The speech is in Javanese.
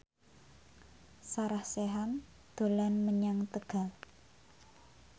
Sarah Sechan dolan menyang Tegal